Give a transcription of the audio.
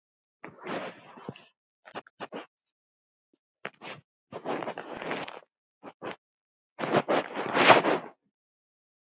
Opnar stöðuna upp á gátt.